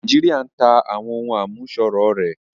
Nàìjíríà ń tá àwọn ohùn àmúṣọrọ̀ rẹ̀